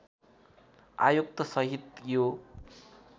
आयुक्त सहित यो